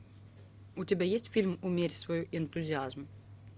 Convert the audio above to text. у тебя есть фильм умерь свой энтузиазм